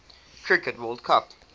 cricket world cup